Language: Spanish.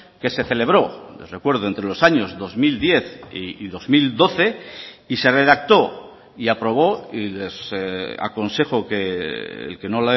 que se celebró les recuerdo entre los años dos mil diez y dos mil doce y se redactó y aprobó y les aconsejo que el que no